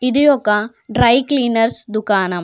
ఇది ఒక dry cleaners దుకాణం.